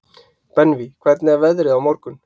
Benvý, hvernig er veðrið á morgun?